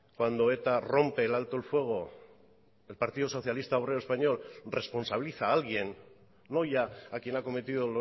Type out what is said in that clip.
cuando eta rompe el alto el fuego el partido socialista obrero español responsabiliza a alguien no ya a quien ha cometido